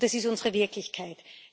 Das ist unsere Wirklichkeit.